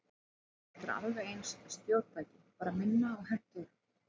Þetta er alveg eins stjórntæki, bara minna og hentugra.